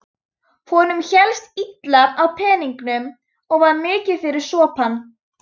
Honum hélst illa á peningum og var mikið fyrir sopann.